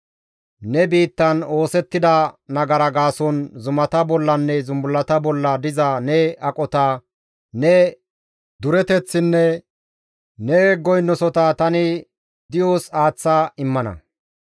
Ne biittan oosettida nagara gaason zumata bollanne zumbullata bolla diza ne aqota, ne dureteththinne ne goynosota tani di7os aaththa immana.